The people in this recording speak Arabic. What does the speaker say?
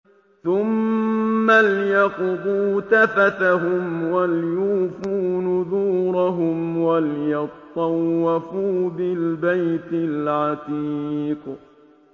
ثُمَّ لْيَقْضُوا تَفَثَهُمْ وَلْيُوفُوا نُذُورَهُمْ وَلْيَطَّوَّفُوا بِالْبَيْتِ الْعَتِيقِ